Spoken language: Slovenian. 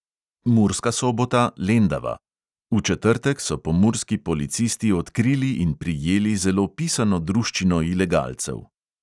Murska sobota, lendava: v četrtek so pomurski policisti odkrili in prijeli zelo pisano druščino ilegalcev.